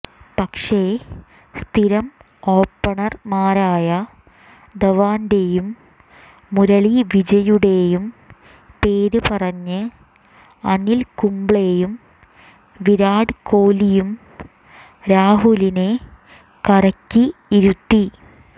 പക്ഷേ സ്ഥിരം ഓപ്പണര്മാരായ ധവാന്റെയും മുരളി വിജയുടെയും പേര് പറഞ്ഞ് അനില് കുംബ്ലെയും വിരാട് കോലിയും രാഹുലിനെ കരയ്ക്ക് ഇരുത്തി